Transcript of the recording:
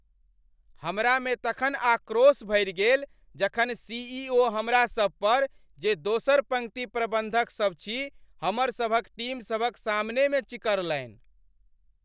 हमरामे तखन आक्रोश भरि गेल जखन सीईओ हमरासभ पर, जे दोसर पङ्क्ति प्रबंधकसभ छी, हमरसभक टीमसभक सामनेमे चिकरलनि।